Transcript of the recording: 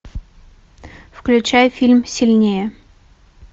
включай фильм сильнее